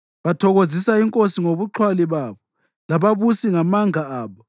Bathokozisa inkosi ngobuxhwali babo, lababusi ngamanga abo.